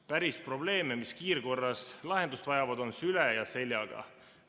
Päris probleeme, mis kiirkorras lahendust vajavad, on süle ja seljaga.